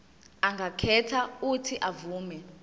angakhetha uuthi avume